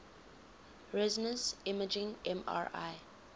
resonance imaging mri